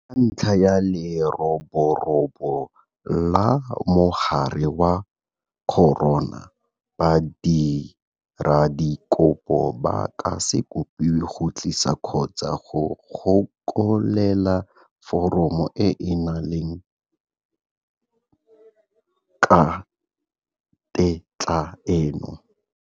Ka ntlha ya leroborobo la mogare wa corona, badiradikopo ba ka se kopiwe go tlisa kgotsa go gokelela foromo e e neelanang ka tetla eno.